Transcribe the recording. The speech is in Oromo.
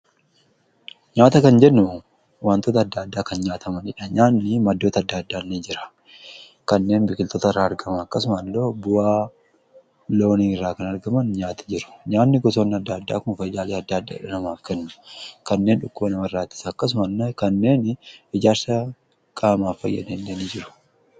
nyaata kan jennu wantoota adda addaa kan nyaatamanidha nyaanni maddoota adda addaan ni jira kanneen biqiltoota irraa argama akkasuma illee bu'aa loonin irraa kan argaman nyaati jiru nyaanni gosoonn adda addaa kun fayyaada adda addaadha namaaf kennu kanneen dhukkoo nama irraatis akkasuma kanneen ijaarsa qaamaaf fayyadanilleen jiru.